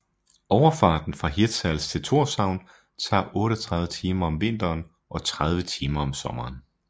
Overfarten fra Hirtshals til Thorshavn tager 38 timer om vinteren og 30 timer om sommeren